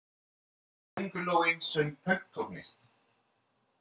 Köngulóin söng pönktónlist!